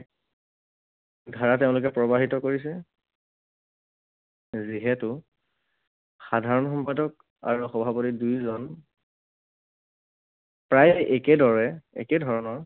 ধাৰা তেওঁলোকে প্ৰবাহিত কৰিছে। যিহেতু সাধাৰণ সম্পাদক আৰু সভাপতি দুয়োজন প্ৰায় একেদৰে একে ধৰণৰ